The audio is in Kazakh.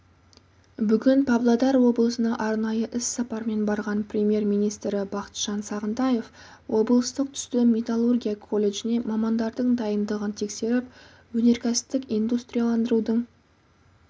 бүгін павлодар облысына арнайы іс-сапармен барған премьер-министрі бақытжан сағынтаев облыстық түсті металлургия колледжінде мамандардың дайындығын тексеріп өнеркәсіптік индустрияландырудың